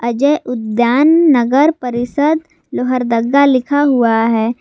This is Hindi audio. अजय उद्यान नगर परिषद लोहारदगा लिखा हुआ है।